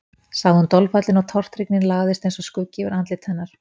sagði hún dolfallin og tortryggnin lagðist eins og skuggi yfir andlit hennar.